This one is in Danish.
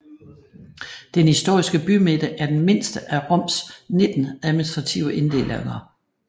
Den historiske bymidte er den mindste af Roms nitten administrative inddelinger